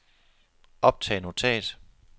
optag notat